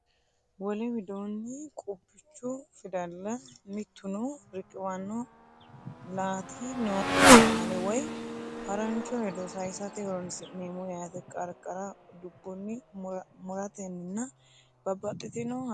Wole widoonni qubbichu fidalla mittuno riqiwanno laati nookki qaale woy harancho hedo sayisate horoonsi’neemmo yaate, Qarqara dubbunni, mu’rotenninna babbaxxitino haqqenni diwa?